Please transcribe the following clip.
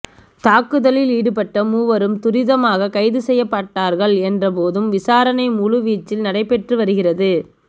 தாக்குதலில் ஈடுபட்ட மூவரும் துரிதமாக கைது செய்யப்பட்டார்கள் என்ற போதும் விசாரணை முழு வீச்சில் நடைபெற்று வருகிறது